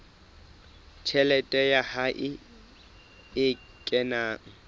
tjhelete ya hae e kenang